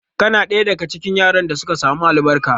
Kana ɗaya daga cikin yaran da suka samu albarkar?